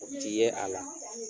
U ti ye a la.